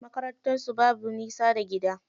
Makarantar su babu nisa daga gida.